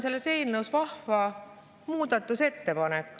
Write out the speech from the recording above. Selles eelnõus on vahva muudatusettepanek.